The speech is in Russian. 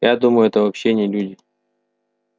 я думаю это вообще не люди